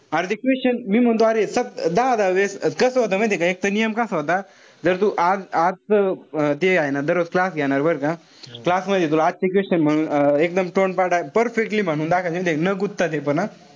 अरे ते question मी म्हणतो अरे दहा-दहा वेळेस. कस होत माहितीये का एक त नियम कसा होता. जर तू आज आजच जे हाये ना दररोज class घेणार बरं का. Class मध्ये तुला आठशे question मधून एकदम तोंडपाठ, perfectly म्हणून दाखवायचे. न कुदता ते पण हा.